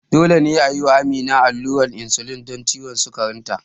Dole ne a yi wa Amina allurar insulin don ciwon sukarinta.